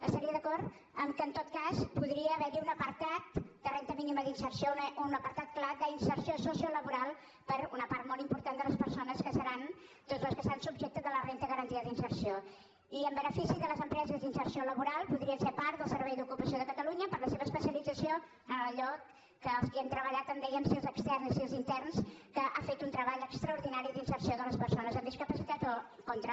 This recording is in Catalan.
estaria d’acord que en tot cas podria haver hi un apartat de renda mínima d’inserció o un apartat clar d’inserció sociolaboral per a una part molt important de les persones que seran doncs les que estan subjectes a la renda garantida d’inserció i en benefici de les empreses d’inserció laboral podrien ser part del servei d’ocupació de catalunya per la seva especialització en allò que els que hi hem treballat en dèiem sil externs i sil interns que han fet un treball extraordinari d’inserció de les persones amb discapacitat o contra